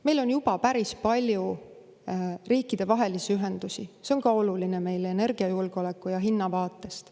Meil on juba päris palju riikidevahelisi ühendusi, mis on meile olulised energiajulgeoleku ja hinna vaatest.